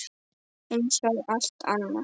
Eins og allt annað.